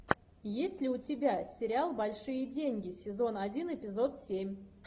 есть ли у тебя сериал большие деньги сезон один эпизод семь